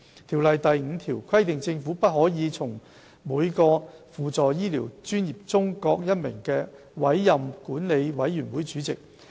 《條例》第5條規定政府不可從"從每個輔助醫療專業中各一名"委任管理委員會的主席。